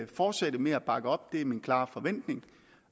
fortsætte med at bakke op det er min klare forventning